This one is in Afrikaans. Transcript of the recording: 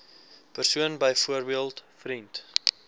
persoon byvoorbeeld vriend